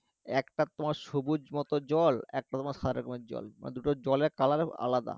একটা তোমার সবুজমত জল একটা তোমার রকমের জল মানে দুটো জলের কালার আলাদা